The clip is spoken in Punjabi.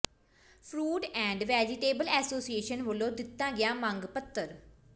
ਫਰੂਟ ਐਾਡ ਵੈਜੀਟੇਬਲ ਐਸੋਸੀਏਸ਼ਨ ਵੱਲੋਂ ਦਿੱਤਾ ਗਿਆ ਮੰਗ ਪੱਤਰ